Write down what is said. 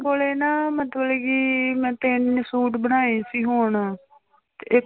ਕੋਲੇ ਨਾ ਮਤਲਬ ਕਿ ਮੈਂ ਤਿੰਨ ਸੂਟ ਬਣਾਏ ਸੀ ਹੁਣ